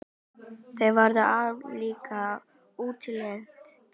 Þau voru ólík í útliti.